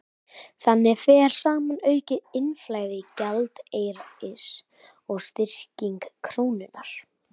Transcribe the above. Þannig fer saman aukið innflæði gjaldeyris og styrking krónunnar.